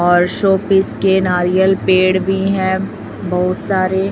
और शोपीस के नारियल पेड़ भी है बहुत सारे